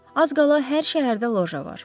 Az qala hər şəhərdə loja var.